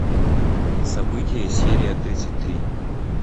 события серия тридцать три